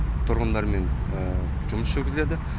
тұрғындармен жұмыс жүргізіледі